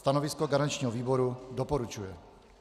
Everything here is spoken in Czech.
Stanovisko garančního výboru: doporučuje.